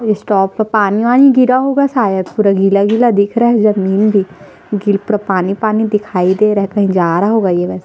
बस स्टॉप पे पानी वानी गिरा होगा शायद पूरा गिला-गिला दिख रहा है जमीन भी गिर पूरा पूरा पानी पानी दिखिइ दे रहा है कही जा रहा होगा ये वैसे--